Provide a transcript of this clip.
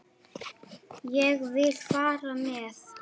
Ég vil fara með.